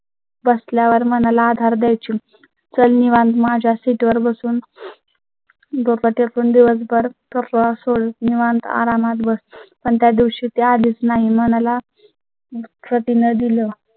बसल्या वर म्हणाला, आधार द्यायची चलनी माझ्या सीटवर बसून . गो पाती आपण दिवसभर गप्पा सोडून निवांत आरामात बस. पण त्या दिवशी ती आलीच नाही म्हणाला प्रति ने दिलं